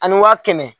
Ani waa kɛmɛ